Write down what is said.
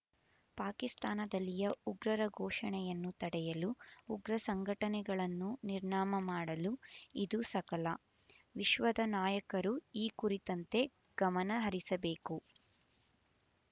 ಪಾಕಿಸ್ತಾನದಲ್ಲಿಯ ಉಗ್ರರ ಪೋಷಣೆಯನ್ನು ತಡೆಯಲು ಉಗ್ರ ಸಂಘಟನೆಗಳನ್ನು ನಿರ್ನಾಮ ಮಾಡಲು ಇದು ಸಕಲ ವಿಶ್ವದ ನಾಯಕರು ಈ ಕುರಿತಂತೆ ಗಮನ ಹರಿಸಬೇಕು